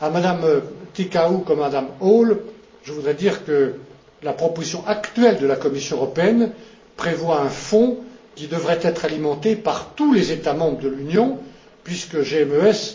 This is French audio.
À Mme Ţicău, comme à Mme Hall, je voudrais dire que la proposition actuelle de la Commission européenne prévoit un fonds qui devrait être alimenté par tous les États membres de l'Union puisque GMES